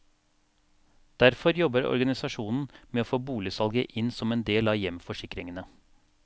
Derfor jobber organisasjonen med å få boligsalget inn som en del av hjemforsikringene.